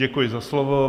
Děkuji za slovo.